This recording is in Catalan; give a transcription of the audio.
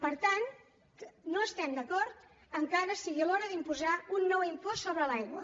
per tant no estem d’acord que ara sigui l’hora d’imposar un nou impost sobre l’aigua